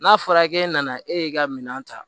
N'a fɔra k'e nana e y'i ka minan ta